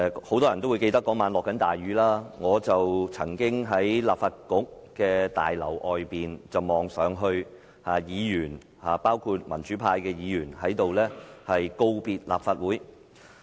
很多人都會記得當晚滂沱大雨，而我當時在立法局大樓外望着議員，包括民主派議員告別立法局。